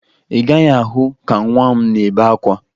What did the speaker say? Ị gaghị ahụ ka nwa m na-ebe akwa